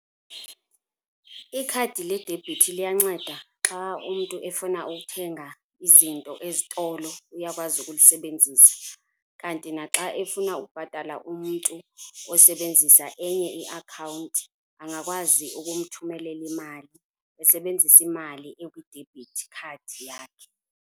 Ikhadi ledebhithi liyanceda xa umntu efuna ukuthenga izinto ezitolo uyakwazi ukulisebenzisa. Kanti naxa efuna ukubhatala umntu osebenzisa enye iakhawunti angakwazi ukumthumelela imali esebenzisa imali ekwi-debit card yakhe.